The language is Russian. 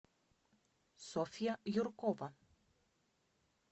софья юркова